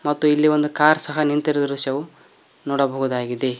ಮತ್ತು ಇಲ್ಲಿ ಒಂದು ಕಾರ್ ಸಹ ನಿಂತಿರುವ ದೃಶ್ಯವು ನೋಡಬಹುದಾಗಿದೆ.